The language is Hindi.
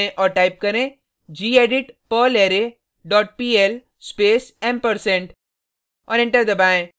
टर्मिनल को खोलें और टाइप करें gedit perlarray dot pl space ampersand